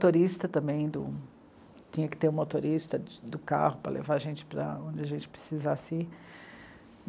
O motorista também, tinha que ter o motorista do carro para levar a gente para onde a gente precisasse ir.